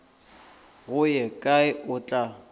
go ye kae o tla